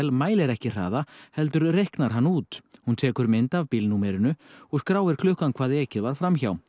mælir ekki hraða heldur reiknar hann út hún tekur mynd af og skráir klukkan hvað ekið var fram hjá